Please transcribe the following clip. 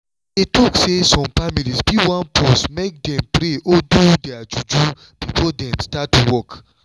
i dey talk say some families fit wan pause make dem pray or do their juju before dem start work